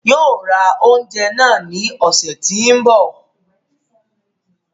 Yóò ra oúnjẹ náà ní ọ̀sẹ̀ tí ń bi